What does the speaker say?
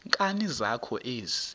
nkani zakho ezi